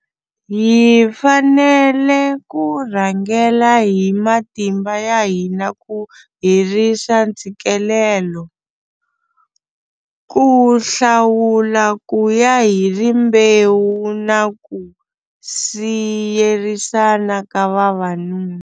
Hi fanele ku rhangela hi matimba ya hina ku herisa ntshikelelo, ku hlawula kuya hi rimbewu na ku siyerisana ka vavanuna.